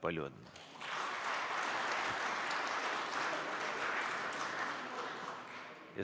Palju õnne!